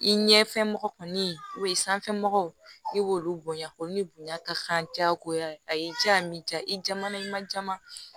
I ɲɛfɛ mɔgɔ kɔni sanfɛ mɔgɔw i b'olu bonya olu bonya ka kan jagoya a y'i diya m i jaman'i ma jama